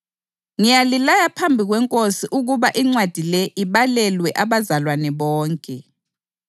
Umusa weNkosi yethu uJesu Khristu kawube lani.